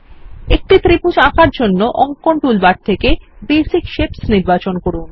একটি ত্রিভুজ আঁকার জন্য অঙ্কন টুলবার থেকে বেসিক শেপস নির্বাচন করুন